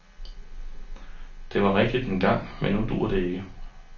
Det var rigtigt engang, men nu duer det ikke.